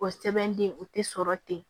O sɛbɛnden o tɛ sɔrɔ ten